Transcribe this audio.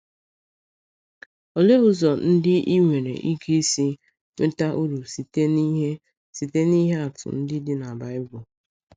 Olee ụzọ ndị i nwere ike isi nweta uru site n’ihe site n’ihe atụ ndị dị na Baịbụl?